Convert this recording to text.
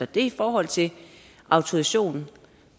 det er i forhold til autorisation